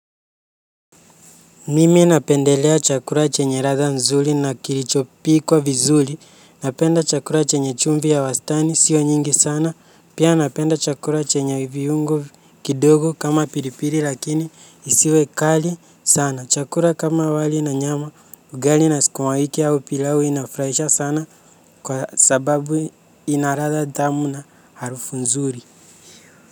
Mimi napendelea chakula chenye ladha nzuri na kilichopikwa vizuri. Napenda chakula chenye chumvi ya wastani sio nyingi sana. Pia napenda chakula chenye viungo kidogo kama pilipili lakini isiwe kali sana. Chakula kama wali na nyama ugali na sukuwawiki au pilau inafurahisha sana kwa sababu ina ladha tamu na harufu nzuri.